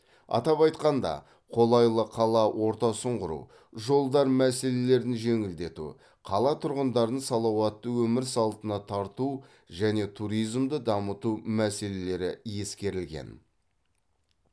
атап айтқанда қолайлы қала ортасын құру жолдар мәселелерін жеңілдету қала тұрғындарын салауатты өмір салтына тарту және туризмді дамыту мәселелері ескерілген